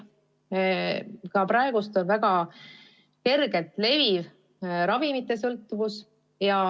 Ka praegu tekib väga kergesti ravimite sõltuvus.